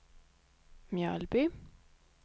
Mjölby